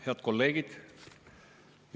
Head kolleegid!